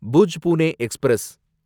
Bhuj Pune express